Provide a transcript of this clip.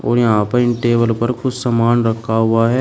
और यहां पर इन टेबल पर कुछ सामान रखा हुआ है।